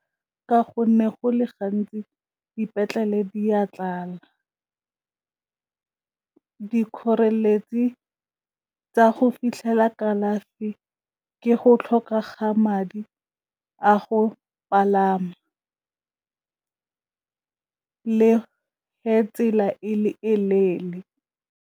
Ka gonne go le gantsi dipetlele di a tlala dikgoreletsi tsa go fitlhela kalafi ke go tlhoka ga madi a go palama le tsela e le e leele.